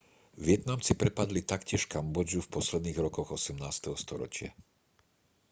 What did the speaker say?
vietnamci prepadli taktiež kambodžu v posledných rokoch 18. storočia